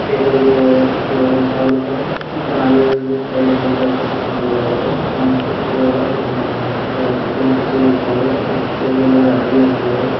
table ಇಟ್ಟಿದ್ದಾರೆ ಸಲ್ಲಾಗಿ side angle ಮಾಡಿದರೆ ಕುರ್ಚಿ ಇಟ್ಟಿದ್ರ ಟೇಬಲ್ ಮೇಲ್--